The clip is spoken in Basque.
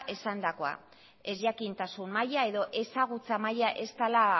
esandakoa ezjakintasun maila edo ezagutza maila ez dela